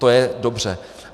To je dobře.